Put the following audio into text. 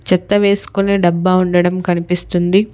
చెత్త వేసుకునే డబ్బా ఉండడం కనిపిస్తుంది.